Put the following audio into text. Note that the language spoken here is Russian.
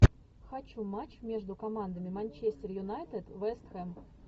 хочу матч между командами манчестер юнайтед вест хэм